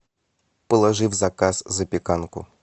положи в заказ запеканку